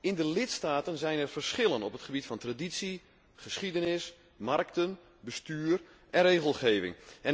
In de lidstaten zijn er verschillen op het gebied van traditie, geschiedenis, markten, bestuur en regelgeving.